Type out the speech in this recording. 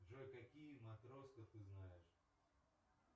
джой какие матроска ты знаешь